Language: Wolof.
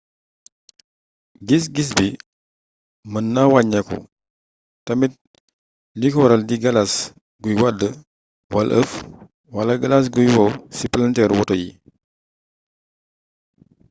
gis gis bi mën na wàññeeku tamit li ko waral di galas guy wadd wala ëff wala galas guy wow ci palanteeru woto yi